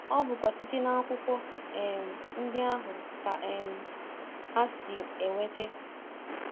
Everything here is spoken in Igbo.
ọ bụkwa site n’akwụkwọ um ndị ahụ ka um ha si enweta...